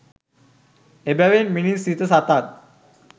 එබැවින් මිනිස් සිත් සතන්